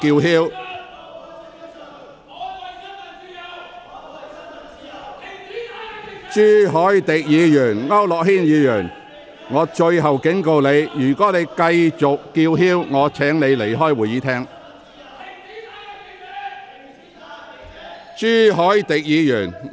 陳志全議員，我對你作出最後警告，如果你不坐下，我會命令你離開會議廳。